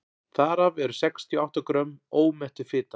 þar af eru sextíu og átta grömm ómettuð fita